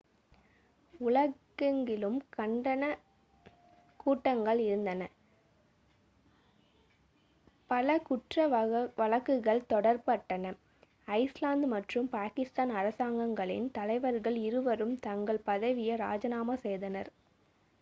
உலகெங்கிலும் கண்டனக் கூட்டங்கள் இருந்தன பல குற்ற வழக்குகள் தொடரப்பட்டன ஐஸ்லாந்து மற்றும் பாகிஸ்தான் அரசாங்கங்களின் தலைவர்கள் இருவரும் தங்கள் பதவியை இராஜினாமா செய்தனர்